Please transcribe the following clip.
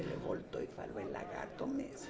Ele voltou e falou, é lagarto mesmo.